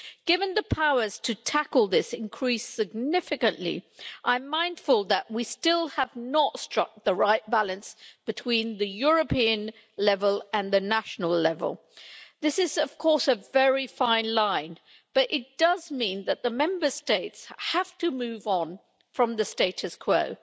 Given the powers to tackle this increase significantly, I am mindful that we still have not struck the right balance between the European level and the national level. This is, of course, a very fine line, but it does mean that the Member States have to move on from the status quo.